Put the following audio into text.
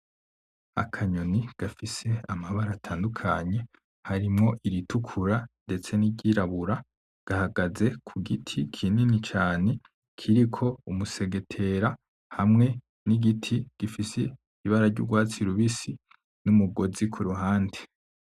Akanyoni gafise amabara atandukanye, harimwo iritukura ndetse n’iryirabura, gahagaze ku giti kinini cane kiriko umusegetera hamwe n’igiti gifise ibara ry’urwatsi rubisi n’umugozi ku ruhande.